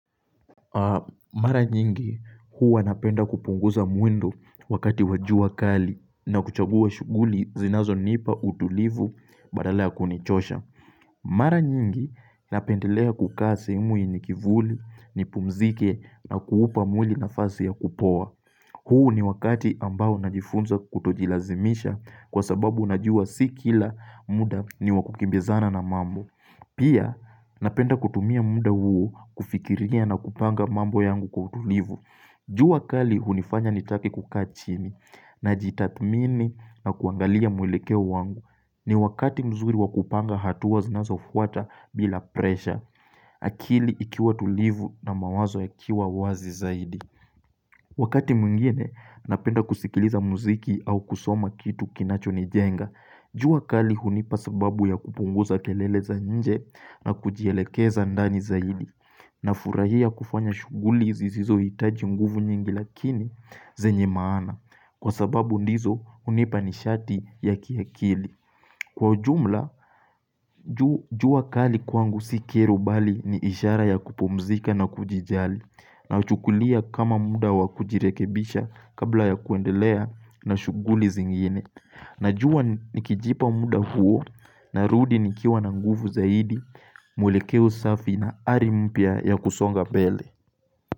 Mara nyingi huwa napenda kupunguza mwendo wakati wa jua kali na kuchagua shughuli zinazonipa utulivu badala ya kunichosha. Mara nyingi napendelea kukaa sehemu yenye kivuli nipumzike na kuupa mwili nafasi ya kupoa. Huu ni wakati ambao najifunza kutojilazimisha kwa sababu najua si kila muda ni wa kukimbizana na mambo. Pia napenda kutumia muda huo kufikiria na kupanga mambo yangu kwa utulivu jua kali hunifanya nitake kukaa chini najitadhmini na kuangalia mwelekeo wangu. Ni wakati mzuri wa kupanga hatua zinazofuata bila presha akili ikiwa tulivu na mawazo yakiwa wazi zaidi Wakati mwingine napenda kusikiliza muziki au kusoma kitu kinachonijenga jua kali hunipa sababu ya kupunguza kelele za nje na kujielekeza ndani zaidi. Nafurahia kufanya shughuli zisizohitaji nguvu nyingi lakini zenye maana. Kwa sababu ndizo hunipa nishati ya kiakili. Kwa ujumla, jua kali kwangu si kero bali ni ishara ya kupumzika na kujijali. Nauchukulia kama muda wa kujirekebisha kabla ya kuendelea na shughuli zingine. Najua nikijipa muda huo narudi nikiwa na nguvu zaidi, mwelekeo safi na ari mpya ya kusonga mbele.